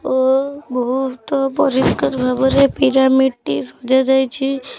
ଓ ବୋହୁତ ପରିଷ୍କାର ଭାବରେ ପିରାମିଡ଼୍ ଟି ସଜା ଯାଇଛି।